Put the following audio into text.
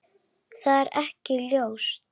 Það er ekki ljóst.